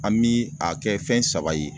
An mi a kɛ fɛn saba ye